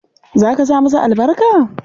Za ka sa masa albarka?